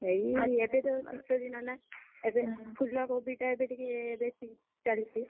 ଏଇ ଏବେ ତ ଶୀତ ଦିନ ନା, ଏବେ ଫୁଲ କୋବି ତ ଏବେ ଟିକେ ବେଶୀ, ଚାଲିଛି।